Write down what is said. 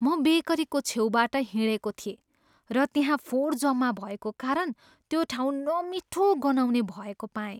म बेकरीको छेउबाट हिँडेको थिएँ र त्यहाँ फोहोर जम्मा भएको कारण त्यो ठाउँ नमिठो गनाउने भएको पाएँ।